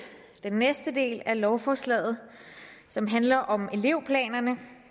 den næste del af lovforslaget som handler om elevplanerne